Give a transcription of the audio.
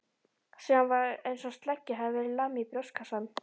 Síðan var einsog sleggju hefði verið lamið í brjóstkassann.